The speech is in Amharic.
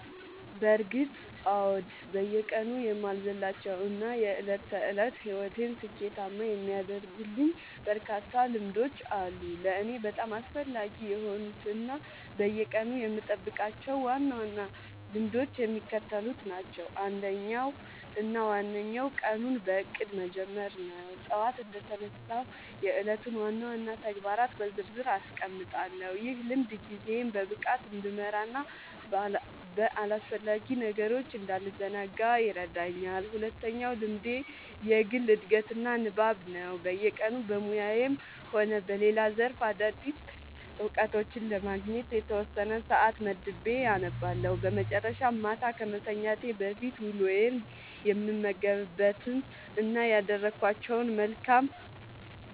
በእርግጥ አዎ፤ በየቀኑ የማልዘልላቸው እና የዕለት ተዕለት ሕይወቴን ስኬታማ የሚያደርጉልኝ በርካታ ልምዶች አሉ። ለእኔ በጣም አስፈላጊ የሆኑት እና በየቀኑ የምጠብቃቸው ዋና ዋና ልምዶች የሚከተሉት ናቸው፦ አንደኛው እና ዋነኛው ቀኑን በእቅድ መጀመር ነው። ጠዋት እንደተነሳሁ የዕለቱን ዋና ዋና ተግባራት በዝርዝር አስቀምጣለሁ፤ ይህ ልምድ ጊዜዬን በብቃት እንድመራና በአላስፈላጊ ነገሮች እንዳልዘናጋ ይረዳኛል። ሁለተኛው ልምዴ የግል ዕድገትና ንባብ ነው፤ በየቀኑ በሙያዬም ሆነ በሌላ ዘርፍ አዳዲስ እውቀቶችን ለማግኘት የተወሰነ ሰዓት መድቤ አነባለሁ። በመጨረሻም፣ ማታ ከመተኛቴ በፊት ውሎዬን የምገመግምበት እና ያደረግኳቸውን መልካም